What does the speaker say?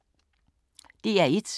DR1